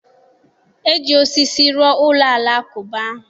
E ji osisi rụọ ụlọ alakụba ahụ.